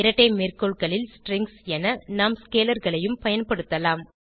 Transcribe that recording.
இரட்டை மேற்கோள்களில் ஸ்ட்ரிங்ஸ் என நாம் ஸ்கேலர் களையும் பயன்படுத்தலாம்